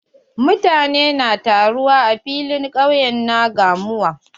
Mutane na taruwa a filin ƙauye na gamuwa.